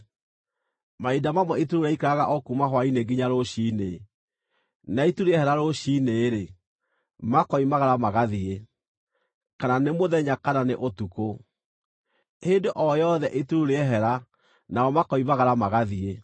Mahinda mamwe itu rĩu rĩaikaraga o kuuma hwaĩ-inĩ nginya rũciinĩ, na itu rĩehera rũciinĩ-rĩ, makoimagara magathiĩ. Kana nĩ mũthenya kana nĩ ũtukũ, hĩndĩ o yothe itu rĩu rĩehera nao makoimagara magathiĩ.